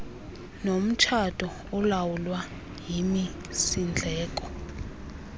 nomtshato olawulwa yimisindleko